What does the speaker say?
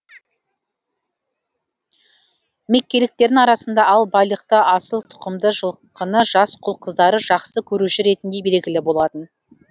меккеліктердің арасында ал байлықты асыл тұқымды жылқыны жас құл қыздары жақсы көруші ретінде белгілі болатын